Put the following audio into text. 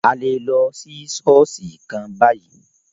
A lè lọ sí ṣọ̀ọ́sì kan bayìí.